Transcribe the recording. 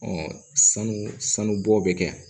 sanu sanu bɔ bɛ kɛ